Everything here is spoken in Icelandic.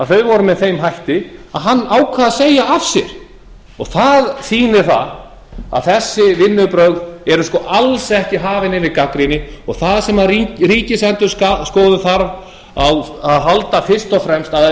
að vinnubrögðin voru með þeim hætti að hann ákvað að segja af sér það sýnir að þessi vinnubrögð eru sko alls ekki hafin yfir gagnrýni og það sem ríkisendurskoðun þarf á að halda fyrst og fremst það er að